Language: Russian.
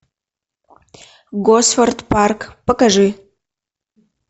госфорд парк покажи